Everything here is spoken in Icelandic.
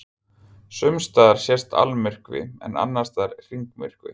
Sumstaðar sést almyrkvi en annars staðar hringmyrkvi.